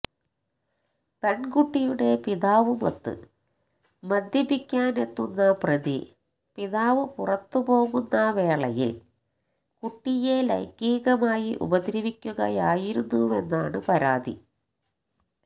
പെൺകുട്ടിയുടെ പിതാവുമൊത്ത് മദ്യപിക്കാനെത്തുന്ന പ്രതി പിതാവ് പുറത്തുപോകുന്ന വേളയിൽ കുട്ടിയെ ലൈംഗീകമായി ഉപദ്രവിക്കുകയായിരുന്നുവെന്നാണ് പരാതി